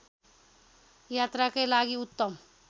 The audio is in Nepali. यात्राकै लागि उत्तम